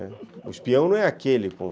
O espião não é aquele com...